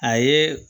A ye